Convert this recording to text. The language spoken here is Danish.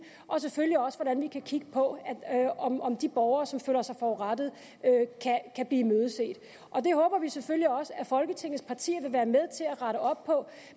og selvfølgelig også hvordan vi kan kigge på om om de borgere som føler sig forurettet kan blive imødeset det håber vi selvfølgelig også at folketinget partier vil være med til at rette op på